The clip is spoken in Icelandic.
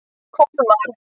Kolmar